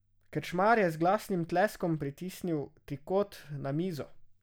Krčmar je z glasnim tleskom pritisnil trikot na mizo.